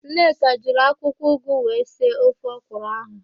Nneka jiri akwụkwọụgụ wee sie ofe ọkwụrụ ahụ,